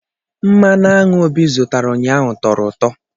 Mmanụ aṅụ Obi zụtara ụnyaahụ tọrọ ụtọ